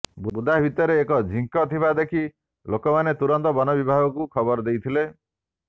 ବୁଦା ଭିତରେ ଏକ ଝିଙ୍କ ଥିବା ଦେଖି ଲୋକମାନେ ତୁରନ୍ତ ବନ ବିଭାଗକୁ ଖବର ଦେଇଥିଲେ